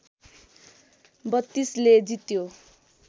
६२ ले जित्यो